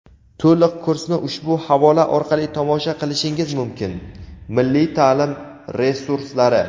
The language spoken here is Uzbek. To‘liq kursni ushbu havola orqali tomosha qilishingiz mumkin: Milliy ta’lim resurslari.